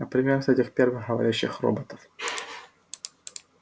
например с этих первых говорящих роботов